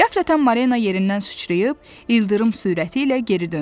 Qəflətən Marina yerindən süçrəyib, ildırım sürəti ilə geri döndü.